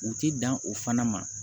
U ti dan o fana ma